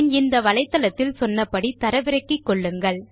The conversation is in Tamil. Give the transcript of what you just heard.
பின் இந்த வலைத்தளத்தில் சொன்ன படி தரவிறக்கிக்கொள்ளுங்கள்